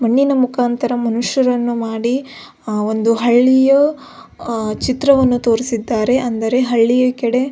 ಮಣ್ಣಿನ ಮುಖಾಂತರ ಮನುಷ್ಯರನ್ನುಮಾಡಿ ಅ ಒಂದು ಹಳ್ಳಿಯ ಚಿತ್ರವನ್ನು ತೋರಿಸಿದ್ದಾರೆ ಅಂದರೆ ಹಳ್ಳಿಯ ಕಡೆ.